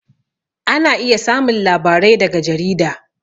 Ana iya samun labarai daga jarida